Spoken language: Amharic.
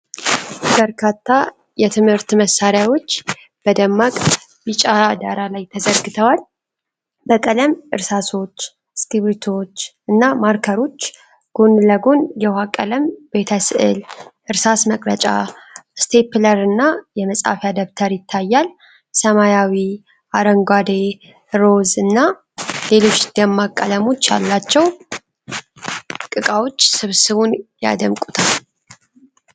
በርካታ የትምህርት መሳሪያዎች በደማቅ ቢጫ ዳራ ላይ ተዘርግተዋል። በቀለም እርሳሶች፣ እስክሪብቶዎች እና ማርከሮች ጎን ለጎን የውሃ ቀለም ቤተ-ስዕል፣ እርሳስ መቅረጫ፣ ስቴፕለርና የመጻፊያ ደብተር ይታያል። ሰማያዊ፣ አረንጓዴ፣ ሮዝ እና ሌሎች ደማቅ ቀለሞች ያሏቸው ዕቃዎች ስብስቡን ያድምቁታል።